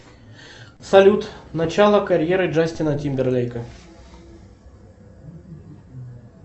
салют начала карьеры джастина тимберлейка